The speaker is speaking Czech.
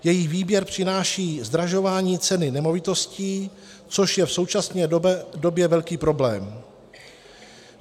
Její výběr přináší zdražování ceny nemovitostí, což je v současné době velký problém.